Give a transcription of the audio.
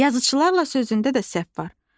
Yazıçılarla sözündə də səhv var.